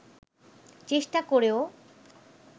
চেষ্টা করেও